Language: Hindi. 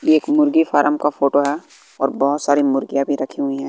एक मुर्गी फारम का फोटो है और बहोत सारी मुर्गीयाँ भी रखी हुई हैं।